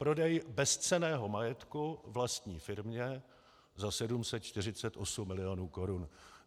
Prodej bezcenného majetku vlastní firmě za 748 milionů korun.